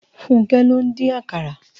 Funke ló n din àkàrá